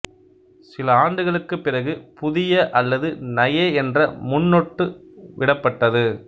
சில ஆண்டுகளுக்குப் பிறகு புதிய அல்லது நயே என்ற முன்னொட்டு விடப்பட்டது